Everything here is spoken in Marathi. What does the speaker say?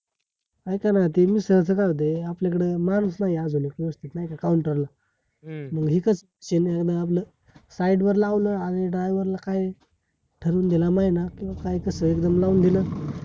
अयका न देइन अस काय होते आपल्याकडे मानुस नाहीय अजून एक व्यवस्तीत नाय का counter ला हम्म मग एक side वर लावल आणि driver ला काय ठरवून दिला महिना कि काय कसय लाऊन दिल